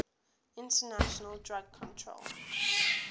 international drug control